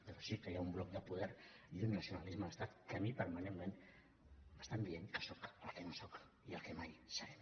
però sí que hi ha un bloc de poder i un nacionalisme d’estat que a mi permanentment m’estan dient que sóc el que no sóc i el que mai seré